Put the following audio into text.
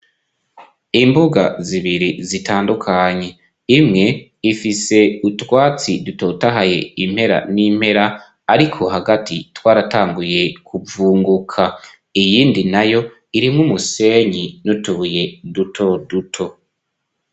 Imbuga zibiri zitandukanye, imwe ifise utwatsi dutotahaye, impera n'impera ariko hagati twaratanguye kuvunguka, iyindi nayo irimwo umusenyi n'utubuye duto duto.